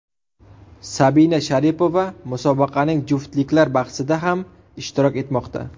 Sabina Sharipova musobaqaning juftliklar bahsida ham ishtirok etmoqda.